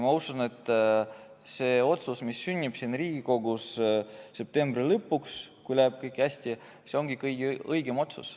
Ma usun, et see otsus, mis sünnib Riigikogus septembri lõpuks, kui kõik läheb hästi, ongi kõige õigem otsus.